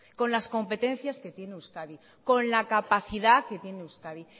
con las competencias que tiene euskadi con la capacidad que tiene euskadi